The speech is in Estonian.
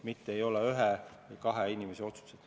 Need ei ole ühe-kahe inimese otsused.